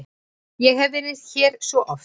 Ég hef verið hér svo oft.